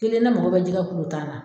Kelen na mago bɛ jɛgɛ kuru tan na.